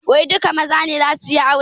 Wai duka maza ne zasu yi aure?